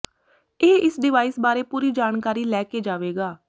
ਇਹ ਇਸ ਡਿਵਾਈਸ ਬਾਰੇ ਪੂਰੀ ਜਾਣਕਾਰੀ ਲੈ ਕੇ ਜਾਵੇਗਾ